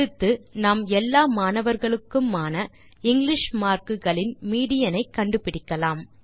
அடுத்து நாம் எல்லா மாணவர்களுக்குமான இங்கிலிஷ் மார்க் களின் மீடியன் ஐ கண்டுபிடிக்கலாம்